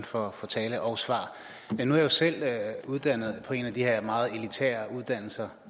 for talen og svaret nu er jeg selv uddannet på en af de her meget elitære uddannelser